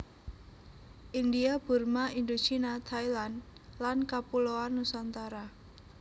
India Burma Indochina Thailand lan Kapuloan Nusantara